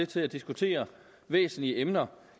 til diskutere væsentlige emner